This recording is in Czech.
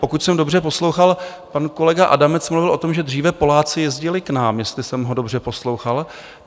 Pokud jsem dobře poslouchal, pan kolega Adamec mluvil o tom, že dříve Poláci jezdili k nám, jestli jsem ho dobře poslouchal.